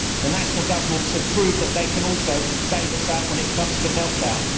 The national governments have proved that they can also bail us out when it comes to meltdown.